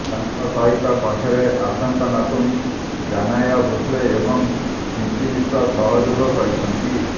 ତାଙ୍କ ସହିତ କଣ୍ଠରେ ଆଶାଙ୍କ ନାତୁଣୀ ଜାନାୟା ଭୋସ୍ଲେ ଏବଂ ସ୍ନିତି ମିଶ୍ର ସହଯୋଗ କରିଛନ୍ତି